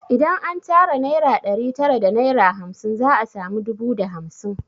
Idan an tara naira ɗari tara da naira hamsin za a sami dubu da hamsin